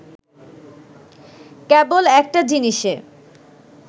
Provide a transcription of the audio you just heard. কেবল একটা জিনিসে